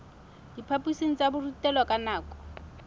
diphaphosing tsa borutelo ka nako